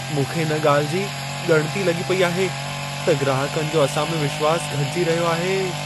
मूंखे इन ॻाल्हि जी ॻणिती लॻी पेई आहे त ग्राहकनि जो असां में विश्वास घटिजी रहियो आहे।